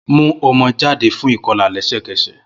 Mu ọmọ jade fun ikọla lẹsẹkẹsẹ!